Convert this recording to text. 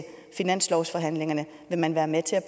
finanslovsforhandlingerne vil man være med til at